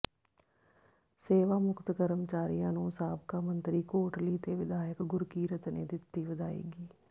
ਸੇਵਾ ਮੁਕਤ ਕਰਮਚਾਰੀਆਂ ਨੂੰ ਸਾਬਕਾ ਮੰਤਰੀ ਕੋਟਲੀ ਤੇ ਵਿਧਾਇਕ ਗੁਰਕੀਰਤ ਨੇ ਦਿੱਤੀ ਵਿਦਾਇਗੀ